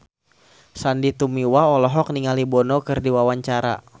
Sandy Tumiwa olohok ningali Bono keur diwawancara